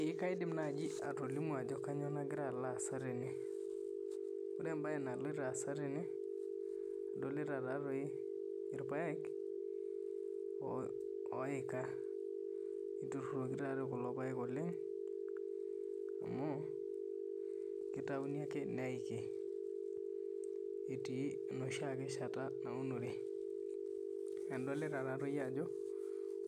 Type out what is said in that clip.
Eeh kaidim naaji atolimu ajo kainyoo nakira alo aasa tene. Wore embaye naloito aasa tene, adolita taatoi irpaek oika, niturruroki taatoi kulo paek oleng', amu kitayuni ake neiki etii enoshi shata naunore. Adolita taatoi ajo